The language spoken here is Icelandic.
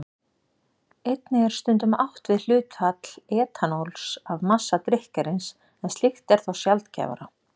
Einnig er stundum átt við hlutfall etanóls af massa drykkjarins, en slíkt er þó sjaldgæfara.